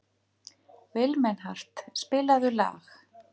Vilmenhart, spilaðu lag.